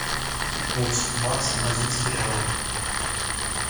курс бакс бразильский реал